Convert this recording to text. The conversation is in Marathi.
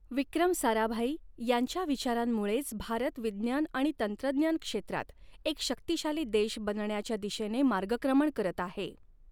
विक्रम साराभाई यांच्या विचारांमुळॆच भारत विज्ञान आणि तंत्रज्ञान क्षेत्रात एक शक्तिशाली देश बनण्याच्या दिशेने मार्गक्रमण करत आहे.